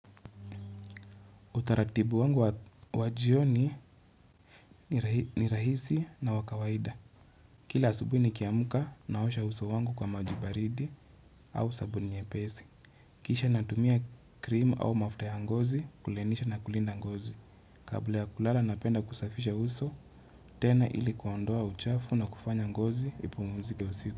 Utaratibu wangu wa jioni ni rahisi na wa kawaida. Kila asubuhi nikiamka naosha uso wangu kwa maji baridi au sabuni nyepesi. Kisha natumia krimu au mafuta ya ngozi kulainisha na kulinda ngozi. Kabla ya kulala napenda kusafisha uso, tena ili kuondoa uchafu na kufanya ngozi ipumzike usiku.